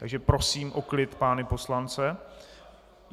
Takže prosím o klid pány poslance.